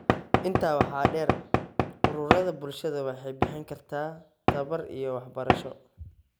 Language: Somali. Intaa waxaa dheer, ururada bulshadu waxay bixin karaan tababar iyo waxbarasho.